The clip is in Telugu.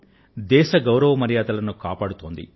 వారు దేశానికి ప్రఖ్యాతిని తీసుకువచ్చారు